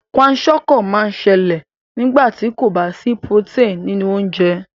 Kwashiorkor má n sẹlẹ̀ nígbàtí kò ba sí protein nínú ounjẹ